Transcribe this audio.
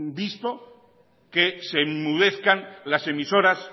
visto que se enmudezcan las emisoras